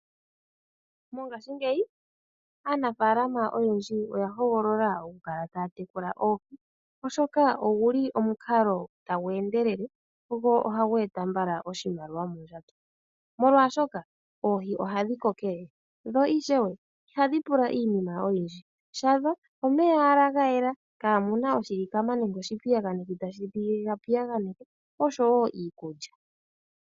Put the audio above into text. Mongashingeyi, aanafaalama oyendji oya hogolola oku kala taya tekula oohi, oshoka ogu li omukalo tagu endelele, go oha gu eta mbala oshimaliwa mondjato, molwaashoka oohi oha dhi kokelele, dho ishewe iha dhi pula iinima oyindji. Shadho omeya owala ga yela, kaamu na oshilikama nenge oshipiyaganeki tashi dhi piyaganeke, osho wo iikulya.